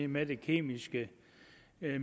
med det kemiske